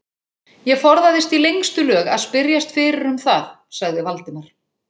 Ég forðaðist í lengstu lög að spyrjast fyrir um það sagði Valdimar.